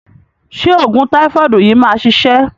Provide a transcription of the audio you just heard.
Ṣé òògùn táífọ̀dù yìí máa ṣiṣẹ́?